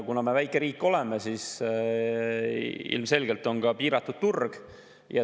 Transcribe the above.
Kuna me oleme väikeriik, siis ilmselgelt on siin ka piiratud turg.